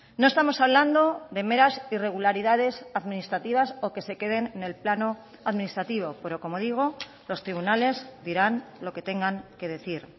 no estamos hablando de meras irregularidades administrativas o que se queden en el plano administrativo pero como digo los tribunales dirán lo que tengan que decir